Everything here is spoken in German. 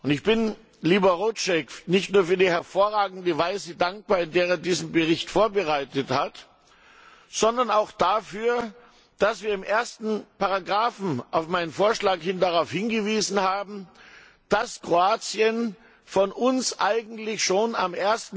Ich bin Libor Rouček nicht nur für die hervorragende Weise dankbar, in der er diesen Bericht vorbereitet hat, sondern auch dafür, dass wir in der ersten Ziffer auf meinen Vorschlag hin darauf hingewiesen haben, dass Kroatien von uns eigentlich schon am